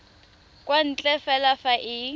kwa ntle fela fa e